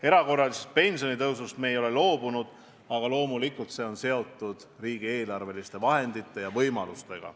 Erakorralisest pensionitõusust me ei ole loobunud, aga loomulikult on selle teostamine seotud riigieelarve võimalustega.